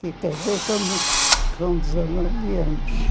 E casei com dezenove anos.